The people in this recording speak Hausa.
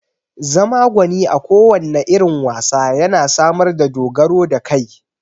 Zama gwani a kowanne irin wasa yana samar da dogaro da kai